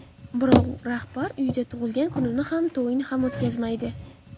Birorta rahbar uyida tug‘ilgan kunini ham, to‘yini ham o‘tkazmaydi.